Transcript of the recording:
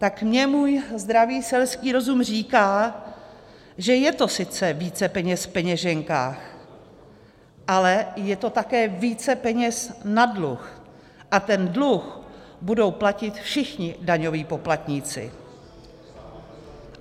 Tak mně můj zdravý selský rozum říká, že je to sice více peněz v peněženkách, ale je to také více peněz na dluh a ten dluh budou platit všichni daňoví poplatníci.